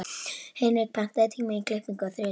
Hinrik, pantaðu tíma í klippingu á þriðjudaginn.